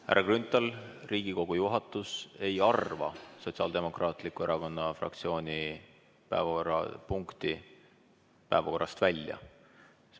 Härra Grünthal, Riigikogu juhatus ei arva Sotsiaaldemokraatliku Erakonna fraktsiooni päevakorrapunkti päevakorrast välja.